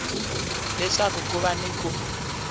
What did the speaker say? leswaku ku va ni ku